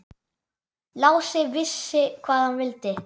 Lási vissi hvað hann vildi.